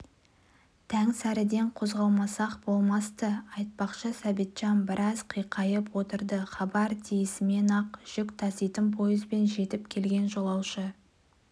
таңсәріден қозғалмасақ болмас-ты айтпақшы сәбитжан біраз қиқайып отырды хабар тиісімен-ақ жүк таситын пойызбен жетіп келген жолаушы